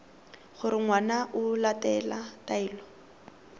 gore ngwana o latela taelo